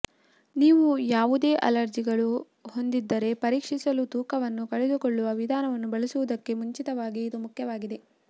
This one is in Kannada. ನೀವು ಯಾವುದೇ ಅಲರ್ಜಿಗಳು ಹೊಂದಿದ್ದರೆ ಪರೀಕ್ಷಿಸಲು ತೂಕವನ್ನು ಕಳೆದುಕೊಳ್ಳುವ ವಿಧಾನವನ್ನು ಬಳಸುವುದಕ್ಕೆ ಮುಂಚಿತವಾಗಿ ಇದು ಮುಖ್ಯವಾಗಿದೆ